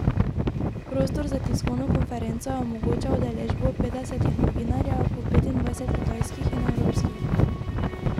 Prostor za tiskovno konferenco je omogočal udeležbo petdesetih novinarjev, po petindvajset kitajskih in evropskih.